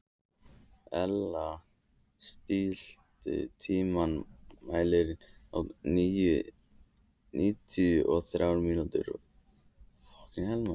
Elea, stilltu tímamælinn á níutíu og þrjár mínútur.